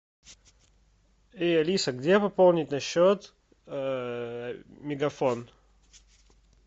эй алиса где пополнить на счет мегафон